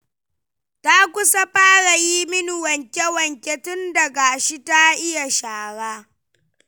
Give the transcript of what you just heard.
Ta kusa fara yin min wanke-wanke tun da gashi ta iya shara.